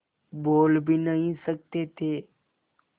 बोल भी नहीं सकते थे